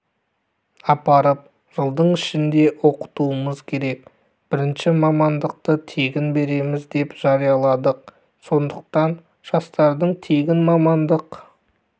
апарып жылдың ішінде оқытуымыз керек бірінші мамандықты тегін береміз деп жарияладық сондықтан жастардың тегін мамандық